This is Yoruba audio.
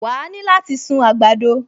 Wà á ní láti sun àgbàdo